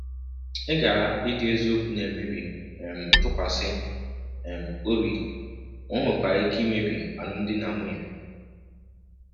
Ịghara ịdị eziokwu na-emebi um ntụkwasị um obi ma ọ nwekwara ike imebi alụmdi na um nwunye.